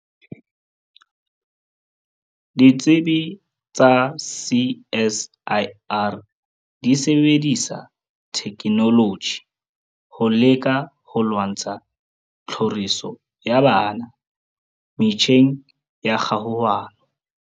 Ditsibi tsa CSIR di sebedisa thekenoloji ho leka ho lwantsha tlhoriso ya bana metjheng ya kgahohano.